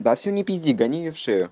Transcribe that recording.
да всё не пизди гони её в шею